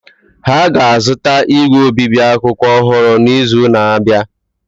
Ha ga-azụta igwe obibi akwụkwọ ọhụrụ n’izu na-abịa.